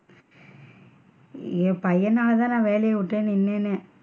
என் பையன்னால தான் நான் வேலைய விட்டு நின்னேனே.